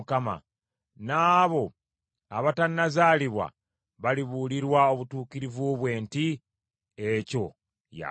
N’abo abatannazaalibwa balibuulirwa obutuukirivu bwe nti, “Ekyo yakikoze.”